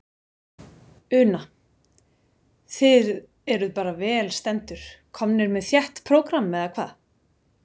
Una: Þið eruð bara vel stendur, komnir með þétt prógram, eða hvað?